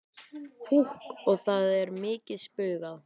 Púkk og það er mikið spaugað.